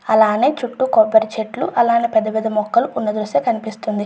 అలానే చుట్టూ కొబ్బరి చెట్లు పెద్దపెద్ద మొక్కలు ఈ దృశ్యంలో కనిపిస్తున్నది.